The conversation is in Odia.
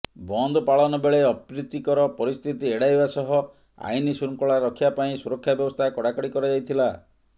ବନ୍ଦ ପାଳନ ବେଳେ ଅପ୍ରିତିକର ପରିସ୍ଥିତି ଏଡ଼ାଇବା ସହ ଆଇନଶୃଙ୍ଖଳା ରକ୍ଷା ପାଇଁ ସୁରକ୍ଷା ବ୍ୟବସ୍ଥା କଡ଼ାକଡ଼ି କରାଯାଇଥିଲା